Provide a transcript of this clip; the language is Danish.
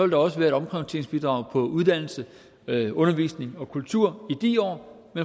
der også være et omprioriteringsbidrag på uddannelse undervisning og kultur i de år